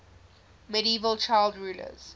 medieval child rulers